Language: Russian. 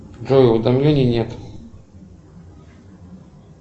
джой уведомлений нет